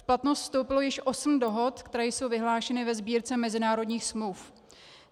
V platnost vstoupilo již 8 dohod, které jsou vyhlášeny ve Sbírce mezinárodních smluv.